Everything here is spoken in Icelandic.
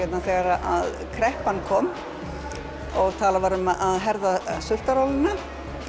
þegar kreppan kom og talað um að herða sultarólina